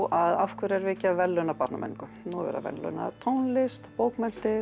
af hverju erum við ekki að verðlauna barnamenningu nú er verið að verðlauna tónlist bókmenntir